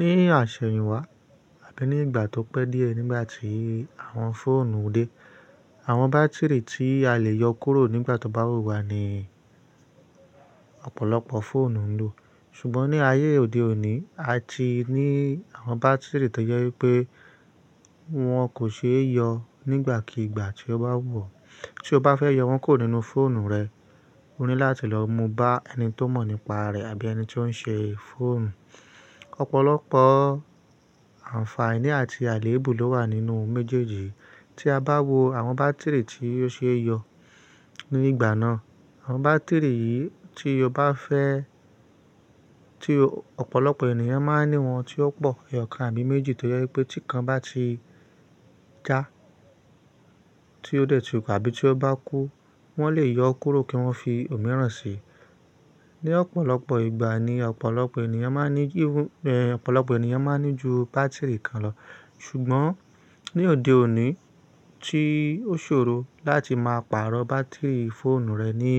Ní àṣẹ̀yìnwá àbí ní ìgbà tó pẹ́ díẹ̀ nígbà tí àwọn fóònù dé, àwọn bátìrì tí a le yọ kúrò nígbà tó bá wù wá ni ọ̀pọ̀lọpọ̀ fóònù ń lò. Ṣùgbọ́n ní ayé òde òní, a ti ní àwọn bátìrì tó jẹ wipé wọ́n kò ṣe é yọ nígbàkigbà tí ó bá wù ọ̀. Tí o bá fẹ́ yọ wọ́n kúrò nínú fóònù rẹ, o ní láti lọ mú bá ẹni tó mọ̀ nípa rẹ̀ àbí ẹni tí ó ń ṣe fóònù. Ọ̀pọ̀lọpọ̀ àǹfààní àti àléébù ló wà nínú méjèèjì. Tí a bá wo àwọn bátìrì tí ó ṣe é yọ ní ìgbà náà, àwọn bátìrì yìí tí o bá fẹ́, tí ọ̀pọ̀lọpọ̀ ènìyàn máa ń ní wọn tí ó pọ̀ eyọkàn àbí méjì toje wipé tí kan bá ti já tí ó dẹ̀ túpa àbí tí ó bá kú, wọ́n lè yọ ó kúrò kí wọ́n fi òmíràn sí i. Ní ọ̀pọ̀lọpọ̀ ìgbà ni ọ̀pọ̀lọpọ̀ ènìyàn máa ń ní jú bátìrì kan lọ. Ṣùgbọ́n ní òde òní tí ó ṣòro láti máa pàrọ̀ bátìrì fóònù rẹ̀ ní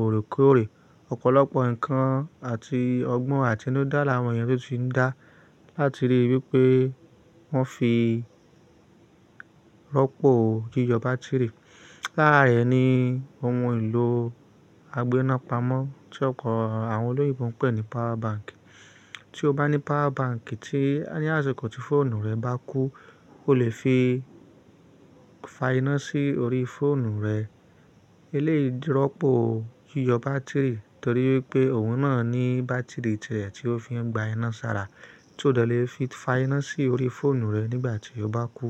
òrekọòrè, ọ̀pọ̀lọpọ̀ ǹkan àti ọgbọ́n àti inúdá láwon eniyan tun ti ń dá láti ríi wípé wọ́n fi rọ́pò yíyọ bátìrì. Lára rẹ̀ ni ohun ìlò àgbéná pamọ́ tí ọ̀pọ̀ àwọn olóyinbọ ń pè ní pawa banki. Tí o bá ní pawa banki tí ní àsìkò tí fóònù rẹ bá kú, o lè fi fà iná sí orí fóònù rẹ. Eleyi rọ́pò yíyọ bátìrì torí wípé òun náà ní bátìrì tẹ̀ẹ̀ tí ó fi ń gba iná sára, tí ó dẹ̀ lè fi fà iná sí orí fóònù rẹ nígbà tí ó bá kú.